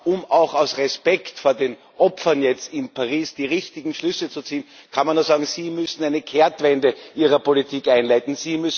Um auch aus Respekt vor den Opfern in Paris jetzt die richtigen Schlüsse zu ziehen, kann man nur sagen Sie müssen eine Kehrtwende Ihrer Politik einleiten.